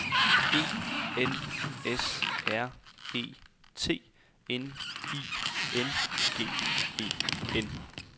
E N S R E T N I N G E N